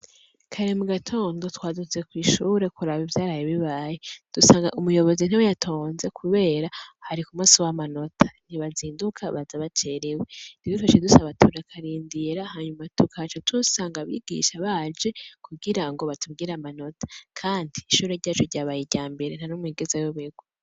Kare mugatondo twazindutse kwishure kuraba ivyaraye bibaye dusanga umuyobozi ntiyatonze kubera hari kumusi wamanota ntibazinduka baza bacerewe rero bikaca bisaba tukarindira tukaca dusanga abigisha baje kugirango batubwire amatona kandi ishure ryacu ryabaye iryambere ntanumwe yigeze ayoberwa